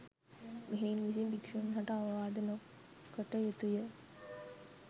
මෙහෙණින් විසින් භික්‍ෂූන් හට අවවාද නො කටයුතු ය